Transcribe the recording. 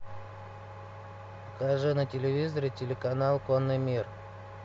покажи на телевизоре телеканал конный мир